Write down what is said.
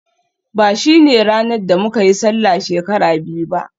ba shine ranar da muka yi Sallah shekara biyu ba